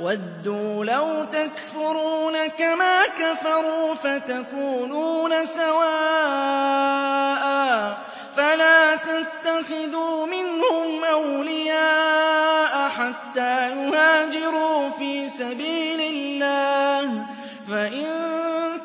وَدُّوا لَوْ تَكْفُرُونَ كَمَا كَفَرُوا فَتَكُونُونَ سَوَاءً ۖ فَلَا تَتَّخِذُوا مِنْهُمْ أَوْلِيَاءَ حَتَّىٰ يُهَاجِرُوا فِي سَبِيلِ اللَّهِ ۚ فَإِن